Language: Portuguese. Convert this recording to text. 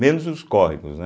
Menos os córregos, né.